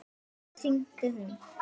Oft hringdi hún.